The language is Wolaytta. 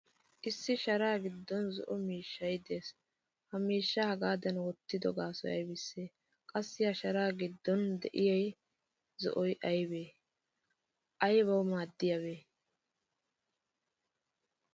Issi sharaa giddon zo'oo miishshay de'ees. Ha miishshaa hagaadan wottido gaasoy aybise? Qassi sharaa giddon de'iyaa zo'oy aybe? Aybawu maadiyabe?